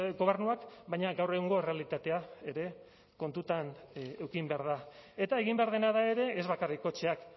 gobernuak baina gaur egungo errealitatea ere kontutan eduki behar da eta egin behar dena da ere ez bakarrik kotxeak